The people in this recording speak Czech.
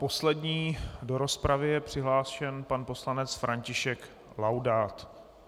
Poslední do rozpravy je přihlášen pan poslanec František Laudát.